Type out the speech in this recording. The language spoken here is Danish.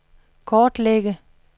kortlægge